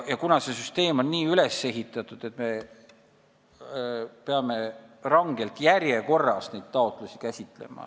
See süsteem on nii üles ehitatud, et me peame neid taotlusi rangelt järjekorras käsitlema.